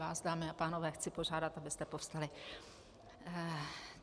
Vás, dámy a pánové, chci požádat, abyste povstali.